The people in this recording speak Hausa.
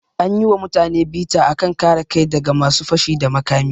An yi wa mutane bita a kan kare kai da ga masu fashi da makami.